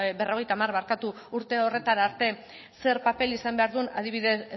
berrogeita hamar urte horretara arte zer paper izan behar duen adibidez